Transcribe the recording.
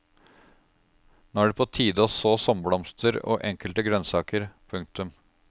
Nå er det på tide å så sommerblomster og enkelte grønnsaker. punktum